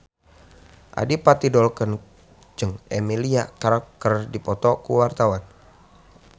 Adipati Dolken jeung Emilia Clarke keur dipoto ku wartawan